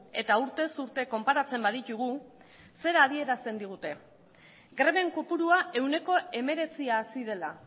eta urtez urte konparatzen baditugu zera adierazten digute greben kopurua ehuneko hemeretzi hazi dela